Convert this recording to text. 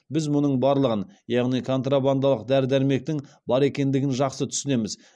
біз мұның барлығын яғни контрабандалық дәрі дәрмектің бар екендігін жақсы түсінеміз